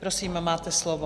Prosím, máte slovo.